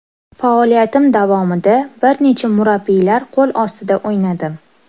Faoliyatim davomida bir necha murabbiylar qo‘l ostida o‘ynadim.